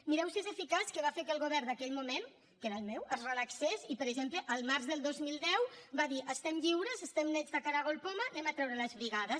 mireu si és eficaç que va fer que el govern d’aquell moment que era el meu es relaxés i per exemple el març del dos mil deu va dir estem lliures estem nets de caragol poma traiem les brigades